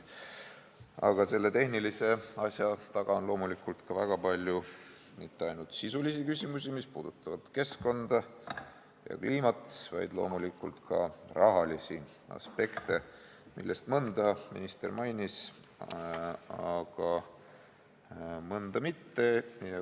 Aga selle tehnilise asja taga on ka väga palju sisulisi küsimusi, mis puudutavad keskkonda ja kliimat, ja loomulikult ka rahalisi aspekte, millest mõnda minister mainis, mõnda aga mitte.